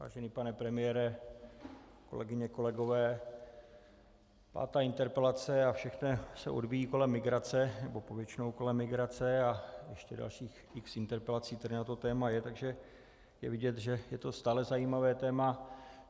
Vážený pane premiére, kolegyně, kolegové, pátá interpelace a všechno se odvíjí kolem migrace, nebo povětšinou kolem migrace a ještě dalších x interpelací tady na to téma je, takže je vidět, že je to stále zajímavé téma.